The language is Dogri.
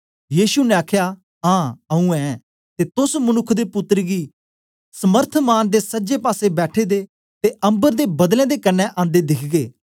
यीशु ने आखया हां आऊँ ऐं ते तोस मनुक्ख दे पुत्तर गी समर्थमान दे सजे पासे बैठे दे ते अम्बर दे बादलें दे कन्ने आंदे दिखगे